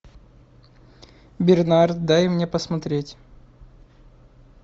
бернард дай мне посмотреть